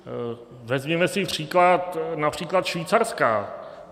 Vezměme si příklad například Švýcarska.